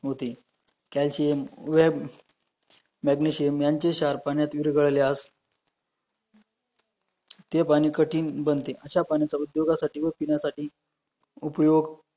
calcium वेब magnesium यांचे क्षार पाण्यात विरघळलयास ते पाणी कठीण बनते अशा पाण्याचा उद्योगासाठी वव पीण्यासाठी उपयोग